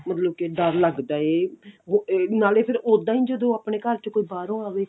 ਮਤਲਬ ਕੇ ਡਰ ਲੱਗਦਾ ਕੇ ਬ ਨਾਲੇ ਫਿਰ ਉਦਾਂ ਹੀ ਜਦੋਂ ਆਪਣੇ ਘਰ ਜਦੋਂ ਬਾਹਰੋਂ ਅਵੇ